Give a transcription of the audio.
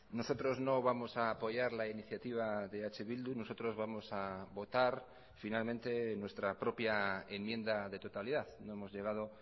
nosotros no vamos a apoyar la iniciativa de eh bildu nosotros vamos a votar finalmente nuestra propia enmienda de totalidad no hemos llegado